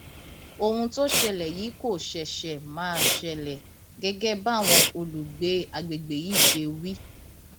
ohun tó ṣẹlẹ yìí kò ṣẹṣẹ máa ṣẹlẹ gẹgẹ báwọn olùgbé àgbègbè yìí ṣe wí